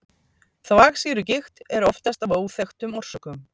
þvagsýrugigt er oftast af óþekktum orsökum